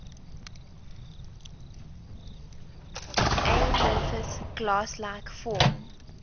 amorphous glass like form